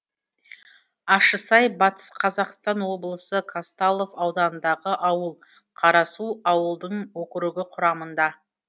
ащысай батыс қазақстан облысы казталов ауданындағы ауыл қарасу ауылдың округі құрамында